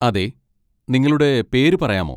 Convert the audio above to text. അതെ. നിങ്ങളുടെ പേര് പറയാമോ?